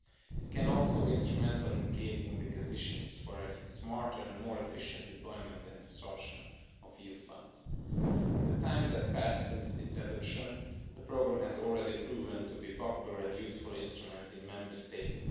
It can also be instrumental in creating the conditions for smarter and more efficient deployment and absorption of EU funds. In the time that has passed since its adoption, the programme has already proven to be a popular and useful instrument in Member States.